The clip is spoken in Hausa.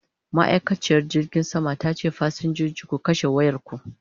ma'aikaciyar jirgin saman tace da fasinjoji "ku kashe wayarku!"